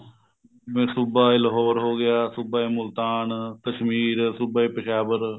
ਜਿਵੇਂ ਸੂਬਾ ਏ ਲਾਹੋਰ ਹੋ ਗਿਆ ਸੁਭਾ ਏ ਮੁਲਤਾਨ ਕਸ਼ਮੀਰ ਸੁਭਾ ਏ ਪਿਸ਼ਾਵਰ